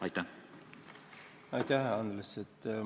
Aitäh, Andres!